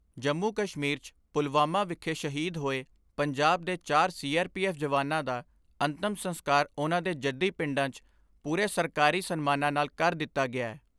ਜੰਮੂ ਕਸ਼ਮੀਰ ' ਚ ਪੁਲਵਾਮਾ ਵਿਖੇ ਸ਼ਹੀਦ ਹੋਏ ਪੰਜਾਬ ਦੇ ਚਾਰ ਸੀ ਆਰ ਪੀ ਐਫ ਜਵਾਨਾਂ ਦਾ ਅੰਤਮ ਸੰਸਕਾਰ ਉਨ੍ਹਾਂ ਦੇ ਜੱਦੀ ਪਿੰਡਾਂ ' ਚ ਪੂਰੇ ਸਰਕਾਰੀ ਸਨਮਾਨਾਂ ਨਾਲ ਕਰ ਦਿੱਤਾ ਗਿਐ।